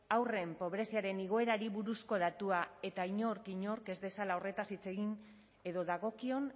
haurren pobreziaren igoerari buruzko datua eta inork inork ez dezala horretaz hitz egin edo dagokion